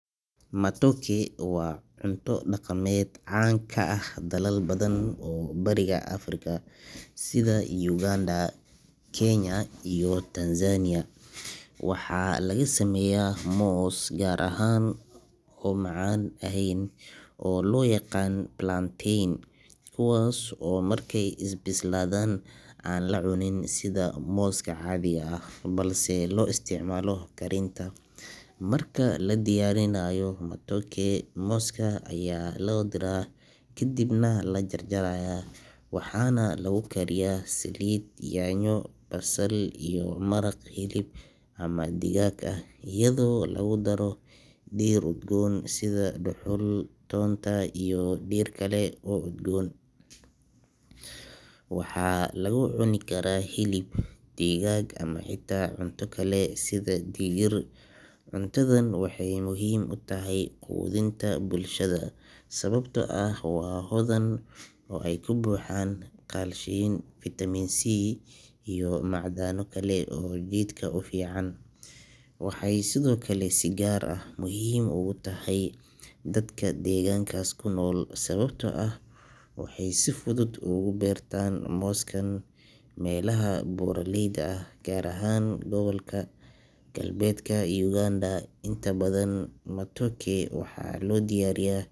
Matoke waa cunto dhaqameed caan ka ah dalal badan oo Bariga Afrika sida Uganda, Kenya iyo Tanzania. Waxaa laga sameeyaa moos gaar ah oo aan macaan ahayn oo loo yaqaan plantain, kuwaas oo markay bislaadaan aan la cunin sida mooska caadiga ah balse loo isticmaalo karinta. Marka la diyaarinayo matoke, mooska ayaa la diiraa kadibna la jarjarayaa waxaana lagu kariyaa saliid, yaanyo, basal, iyo maraq hilib ama digaag ah iyadoo lagu daro dhir udgoon sida dhuxul, toonta, iyo dhir kale oo udgoon. Waxaa lagu cuni karaa hilib, digaag, ama xitaa cunto kale sida digir. Cuntadan waxay muhiim u tahay quudinta bulshada sababtoo ah waa hodan oo ay ka buuxaan kaalshiyam, fiitamiin C iyo macdano kale oo jidhka u fiican. Waxay sidoo kale si gaar ah muhiim ugu tahay dadka deegaankaas ku nool sababtoo ah waxay si fudud uga beertaan mooskan meelaha buuraleyda ah, gaar ahaan gobolka galbeedka Uganda. Inta badan, matoke waxaa loo diyaariyaa.